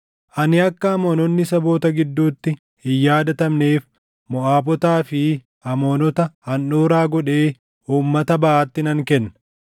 Ani akka Amoononni saboota gidduutti hin yaadatamneef Moʼaabotaa fi Amoonota handhuuraa godhee uummata baʼaatti nan kenna;